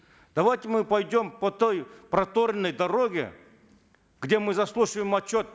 давайте мы пойдем по той проторенной дороге где мы заслушиваем отчет